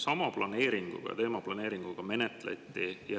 Sama teemaplaneeringuga menetleti.